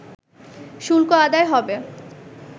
শুল্ক আদায় হবে